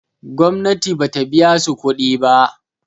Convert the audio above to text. gomnati ba ta biya su kuɗi ba